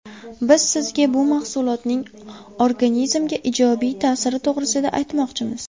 Biz sizga bu mahsulotning organizmga ijobiy ta’siri to‘g‘risida aytmoqchimiz.